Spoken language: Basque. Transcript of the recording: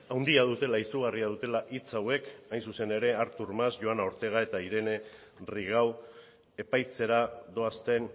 handia dutela izugarria dutela hitz hauek hain zuzen ere artur mas joana ortega eta irene rigau epaitzera doazten